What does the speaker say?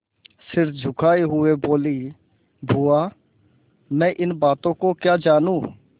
सिर झुकाये हुए बोलीबुआ मैं इन बातों को क्या जानूँ